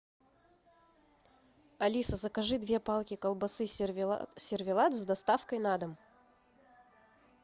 алиса закажи две палки колбасы сервелат с доставкой на дом